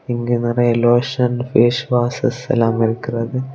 இங்க நேரியா லொஷன் பாஸ்வஷேஸ்லாம் இருக்கிறது.